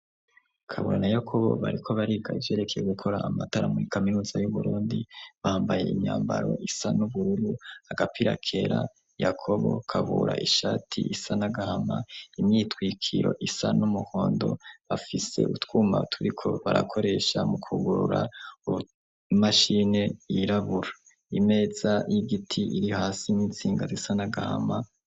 Kabura na Yakobo bariko bariga ivyerekeye gukora amatara muri kaminuza y'Uburundi, bambaye imyambaro isa n'ubururu, agapirakera Yakobo Kabura ishati isa n'agahama, imyitwikiro isa n'umuhondo, bafise utwuma turiko barakoresha mu kwugurura imashini yirabura. Imeza y'igiti iri hasi n'intsinga zisa n'agahama.